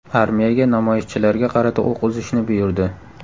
Armiyaga namoyishchilarga qarata o‘q uzishni buyurdi.